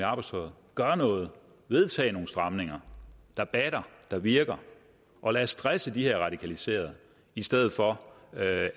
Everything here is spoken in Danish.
arbejdstøjet gør noget vedtag nogle stramninger der batter der virker og lad os stresse de her radikaliserede i stedet for